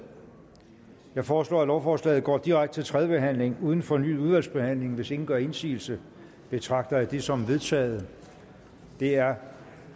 jeg foreslår at lovforslaget går direkte til tredje behandling uden fornyet udvalgsbehandling hvis ingen gør indsigelse betragter jeg det som vedtaget det er